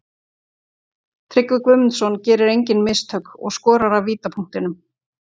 Tryggvi Guðmundsson gerir engin mistök og skorar af vítapunktinum.